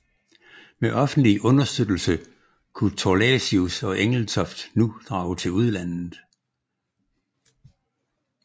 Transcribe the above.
Med offentlig understøttelse kunne Thorlacius og Engelstoft nu drage til udlandet